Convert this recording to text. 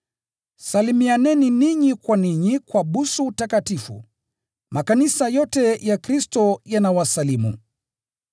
Salimianeni ninyi kwa ninyi kwa busu takatifu. Makanisa yote ya Kristo yanawasalimu.